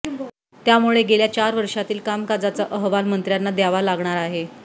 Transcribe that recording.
त्यामुळे गेल्या चार वर्षातील कामकाजाचा अहवाल मंत्र्यांना द्यावा लागणार आहे